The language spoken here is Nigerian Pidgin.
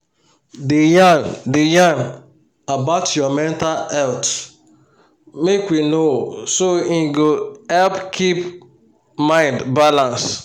da yan da yan about your mental healt make we know so um e go help keep mind balance